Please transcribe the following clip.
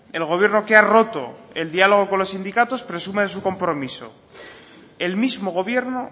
el gobierno que ha roto el diálogo con los sindicatos presume de su compromiso el mismo gobierno